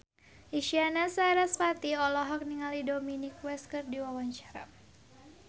Isyana Sarasvati olohok ningali Dominic West keur diwawancara